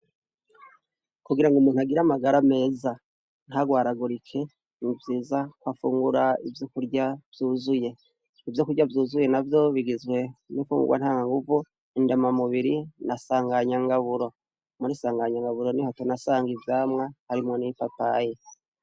Kugira ngo umuntu agira amagara meza ntarwaragurike nivyiza ko afungura ivyo kurya vyuzuye ivyo kurya vyuzuye na vyobigizwe n'ifungurwa ntankanguvu indama mubiri nasanganyangaburo muri sanganyangaburo ni hoto nasanga ivyamwa harimwo n'i papaye.